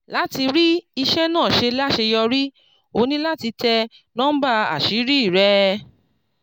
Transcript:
láti rí iṣẹ́ náà ṣe láṣeyọrí o ní láti tẹ núḿbà àṣírí rẹ.